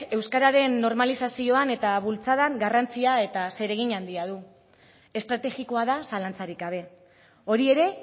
euskararen normalizazioan eta bultzadan garrantzia eta zeregin handia du estrategikoa da zalantzarik gabe hori ere